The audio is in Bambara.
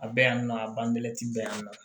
A bɛ yan nɔ a banbelɛti bɛ yan nɔ